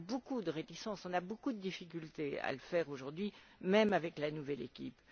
On a beaucoup de réticences, on a beaucoup de difficultés à le faire aujourd'hui, même avec la nouvelle équipe.